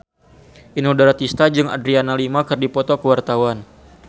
Inul Daratista jeung Adriana Lima keur dipoto ku wartawan